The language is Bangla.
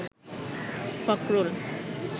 ফখরুল